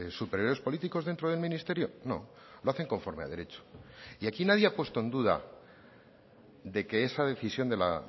superiores políticos dentro del ministerio no lo hacen conforme a derecho y aquí nadie ha puesto en duda de que esa decisión de la